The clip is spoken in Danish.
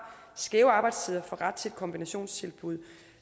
skæve arbejdstider ret til et kombinationstilbud